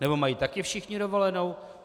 Nebo mají taky všichni dovolenou?